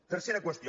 tercera qüestió